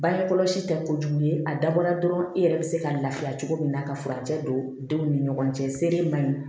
Bange kɔlɔsi tɛ kojugu ye a dabɔra dɔrɔn i yɛrɛ bɛ se ka lafiya cogo min na ka furancɛ don denw ni ɲɔgɔn cɛ sere ma